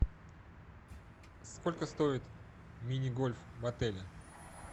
сколько стоит мини гольф в отеле